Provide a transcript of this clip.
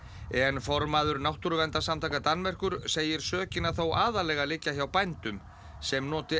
en formaður Náttúruverndarsamtaka Danmerkur segir sökina þó aðallega liggja hjá bændum sem noti